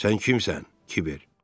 Sən kimsən, Kibər?